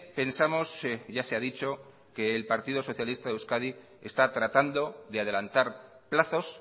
pensamos ya se hadicho que el partido socialista de euskadi está tratando de adelantar plazos